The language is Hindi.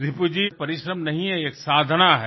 रिपु जी परिश्रम नही है ये एक साधना है